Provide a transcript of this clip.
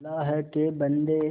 अल्लाह के बन्दे